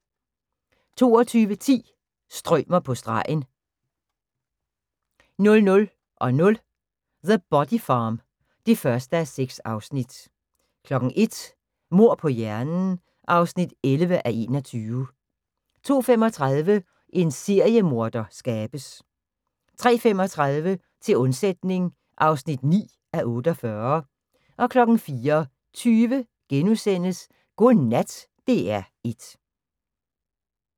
22:10: Strømer på stregen 00:00: The Body Farm (1:6) 01:00: Mord på hjernen (11:21) 02:35: En seriemorder skabes 03:35: Til undsætning (9:48) 04:20: Godnat DR1 *